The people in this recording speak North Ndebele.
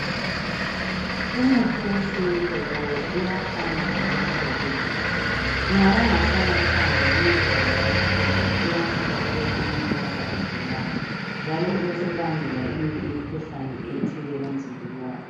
Umuthi wesintu lawo uyafana lomuthi wabelungu. Nxa ungasanathanga ngendlela yakhona uyasuka ube sumlimaza ogulayo njalo ube usubangela eminye imikhuhlane ethile emzimbeni wakhe.